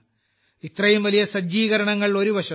ഇത്രയും വലിയ സജ്ജീകരണങ്ങൾ ഒരുവശത്ത്